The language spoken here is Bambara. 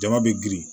Jama bɛ girin